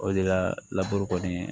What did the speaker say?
O de la laburu kɔni